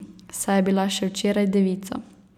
Saj je bila še včeraj devica.